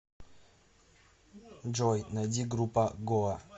джой найди группа гоа